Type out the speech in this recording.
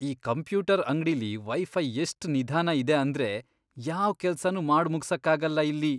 ಈ ಕಂಪ್ಯೂಟರ್ ಅಂಗ್ಡಿಲಿ ವೈಫೈ ಎಷ್ಟ್ ನಿಧಾನ ಇದೆ ಅಂದ್ರೆ ಯಾವ್ ಕೆಲ್ಸನೂ ಮಾಡ್ ಮುಗ್ಸಕ್ಕಾಗಲ್ಲ ಇಲ್ಲಿ.